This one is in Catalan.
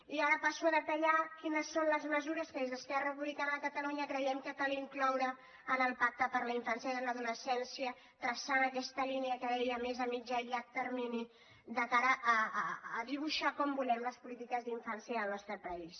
i ara passo a detallar quines són les mesures que des d’esquerra republicana de catalunya creiem que cal incloure en el pacte per a la infància i l’adolescèn·cia traçant aquesta línia que deia més a mitjà i llarg termini de cara a dibuixar com volem les polítiques d’infància al nostre país